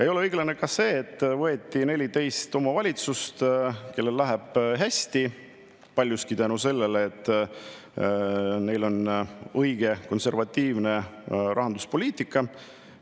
Ei ole õiglane ka see, et 14 omavalitsust, kellel läheb hästi, ja paljuski tänu sellele, et neil on õige, konservatiivne rahanduspoliitika.